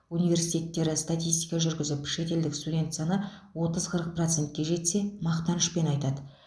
университеттері статистика жүргізіп шетелдік студент саны отыз қырық процентке жетсе мақтанышпен айтады